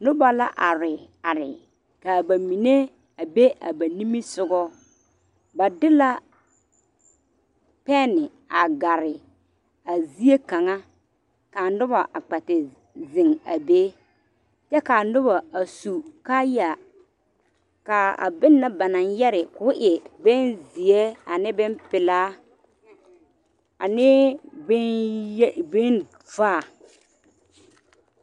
Noba la are are ka ba mine are ba niŋe sogo ba de la pene a gare a zieŋ kaŋe ka a noba kpɛ ta zeŋe a be kyɛ ka noba suu kaayaŋ ka a bone ba naŋ yɛrɛ ka o e bone zeɛ ane bone peɛlɛ beŋ vaa.